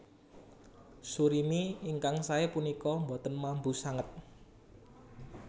Surimi ingkang saé punika boten mambu sanget